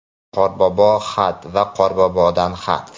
Qorboboga xat va Qorbobodan xat.